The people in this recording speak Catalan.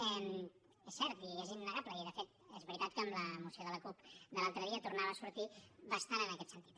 és cert i és innegable i de fet és veritat que amb la moció de la cup de l’altre dia tornava a sortir bastant en aquest sentit